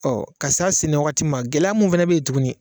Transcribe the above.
Ɔ ka se a sɛnɛ waati ma, gɛlɛya mun fɛnɛ bɛ ye tugunni.